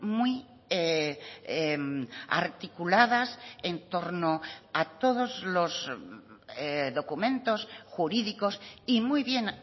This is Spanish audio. muy articuladas entorno a todos los documentos jurídicos y muy bien